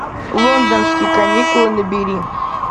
лондонские каникулы набери